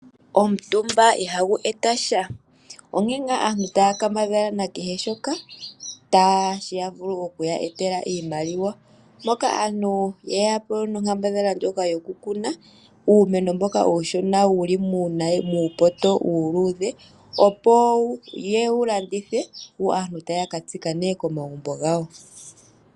Omutumba ihagu eta sha, onkene ngaa aantu taya kambadhala na kehe shoka tashi vulu okuya etela iimaliwa, moka aantu ye yapo nonkambadhala yo kukuna uumeno mboka uushona wuli muupoto uuludhe, opo yewu landithe, yo aantu taya katsika nee komagumbo gawo.